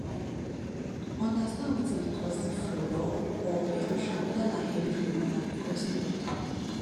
understand wetin dey cause di flood or or erosion weda na heavy rain or na because no gutter